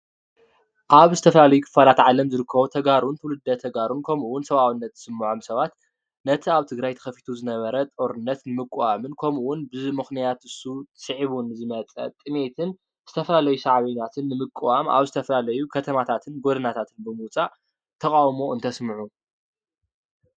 ኣብ ዝተፈላለዩ ክፋላት ዓለም ዝርከቡ ተጋሩ ትውልደ ተጋሩን ከምኡ እውን ሰብኣውነት ዝስመዖም ሰባት ነቲ ኣብ ትግራይ ተከፊቱ ዝነበረ ጦርነት ንምቁዋምን ከምኡ እውን ብምክንያት ንሱ ስዒቡ ዝመፀ ጥምየትን ዝተፈላለዩ ሰዕብየናትን ብምቁዋም ኣብ ዝተፈላለዩ ከተማታትን ጎደናታትን ብምውፃእ ተቃውሞ እንተስምዑ